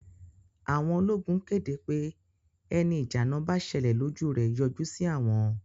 Àwọn ológun kéde pé ẹni ìjà àná bá ṣẹlẹ̀ lójú rẹ̀ yọjú sí àwọn